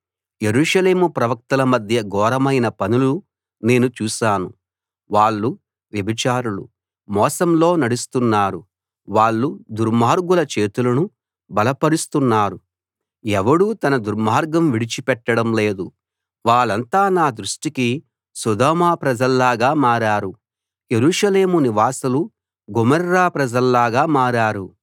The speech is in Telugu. యెరూషలేము ప్రవక్తల మధ్య ఘోరమైన పనులు నేను చూశాను వాళ్ళు వ్యభిచారులు మోసంలో నడుస్తున్నారు వాళ్ళు దుర్మార్గుల చేతులను బలపరుస్తున్నారు ఎవడూ తన దుర్మార్గం విడిచిపెట్టడం లేదు వాళ్ళంతా నా దృష్టికి సొదొమ ప్రజల్లాగా మారారు యెరూషలేము నివాసులు గొమొర్రా ప్రజల్లాగా మారారు